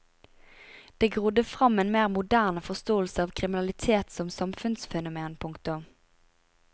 Det grodde fram en mer moderne forståelse av kriminalitet som samfunnsfenomen. punktum